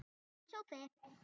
Fínn sófi!